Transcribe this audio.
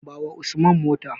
Bawa Usman mota.